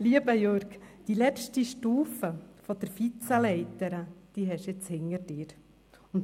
Lieber Jürg Iseli, die letzte Stufe der «Vize-Leiter» haben Sie jetzt hinter sich.